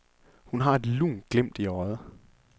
Hun har et lunt glimt i øjet.